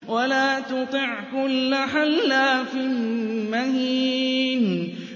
وَلَا تُطِعْ كُلَّ حَلَّافٍ مَّهِينٍ